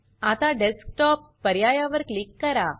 आता डेस्कटॉप पर्यायावर क्लिक करा